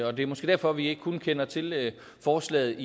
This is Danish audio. og det er måske derfor vi kun kender til forslaget